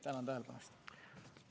Tänan tähelepanu eest!